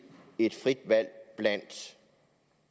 et frit valg blandt